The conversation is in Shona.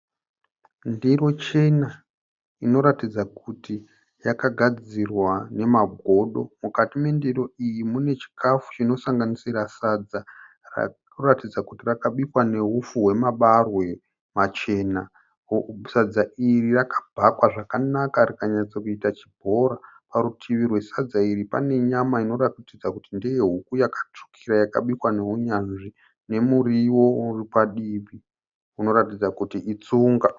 Ndiro chena inoratidza kuti yakagadzirwa nemagodo. Mukati mendiro iyi mune chikafu chinosanganisira sadza rikuratidza kuti rakabikwa neupfu hwemabarwe machena. Sadza iri rakabhakwa zvakanaka rikanyatsokuita chibhora. Parutivi rwesadza iri pane nyama inoratidza kuti ndeye huku yakatsvukira yakabikwa neunyanzvi nemuriwo uri padivi unoratidza kuti iTsunga.